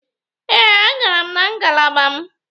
Ee, agara m ngalaba m.